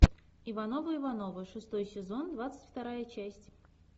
ивановы ивановы шестой сезон двадцать вторая часть